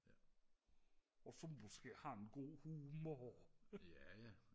og så måske har en god humor